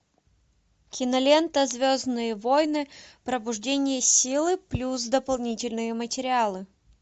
кинолента звездные войны пробуждение силы плюс дополнительные материалы